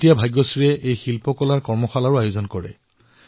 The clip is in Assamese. এতিয়া তেওঁ কলাৰ ওপৰত কৰ্মশালাৰো আয়োজন কৰিছে